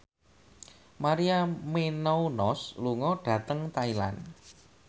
Maria Menounos lunga dhateng Thailand